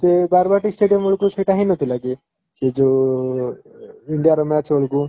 ସେ ବାରବାଟୀ stadium ବେଳକୁ ସେଇଟା ହେଇ ନଥିଲା କି ସେ ଯଉ india ର match ବେଳକୁ?